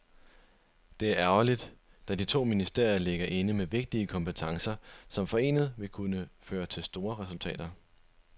Det er ærgerligt, da de to ministerier ligger inde med vigtige kompetencer, som forenet kunne føre til store resultater.